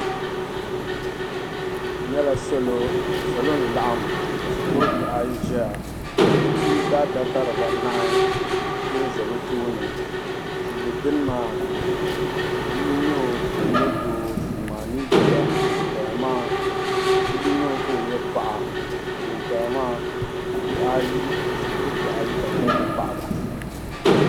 N nyɛla salo salo n laɣim ka shikurubihi ayi ʒiya ka kpiiba adaka dibbanahi pe ʒi bɛ tooni tuuli dini maa bia nyɛ o ka o nyɛ doo yuma anii bia ŋuni paya maa bia nyɛ o ka o nyɛ paɣa ka ŋuni paya maa bihi ayi shikurubihi ka bɛ gba nyɛ paɣ'ba.